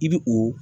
I bi o